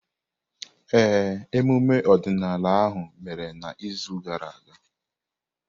Ee, emume ọdịnala ahụ mere n’izu gara aga.